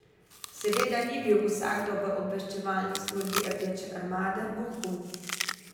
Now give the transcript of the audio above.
Seveda ni bil vsakdo v obveščevalni službi Rdeče armade vohun.